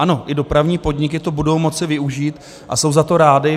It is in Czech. Ano, i dopravní podniky to budou moci využít a jsou za to rády.